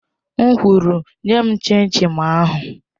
M kwuru, nye m chin chin ahụ!